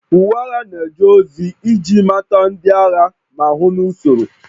Uwe agha na-eje ozi iji mata ndị agha ma hụ na usoro